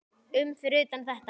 um fyrir utan þetta.